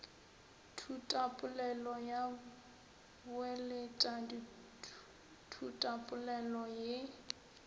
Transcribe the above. thutapolelo ya boeletša thutapolelo ye